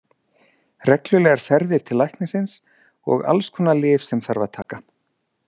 Reglulegar ferðir til læknisins og alls konar lyf sem þarf að taka.